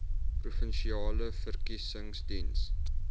provinsiale verkiesings diens